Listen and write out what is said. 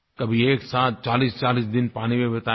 कभी एक साथ 4040 दिन पानी में बिताएगी